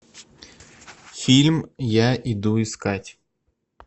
фильм я иду искать